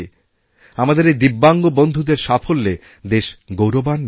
আমাদের এই দিব্যাঙ্গ বন্ধুদের সাফল্যে দেশ গৌরবান্বিত